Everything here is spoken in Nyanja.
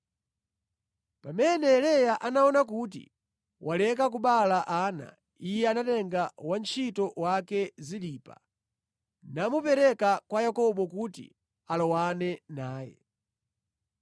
Pamene Leya anaona kuti waleka kubereka ana, iye anatenga wantchito wake Zilipa namupereka kwa Yakobo kuti alowane naye.